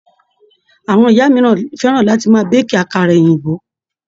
Àwọn ìyá mìíràn fẹ́ràn láti máa béèkì àkàrà òyìnbó.